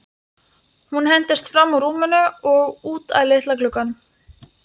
Hún hentist fram úr rúminu og út að litla glugganum.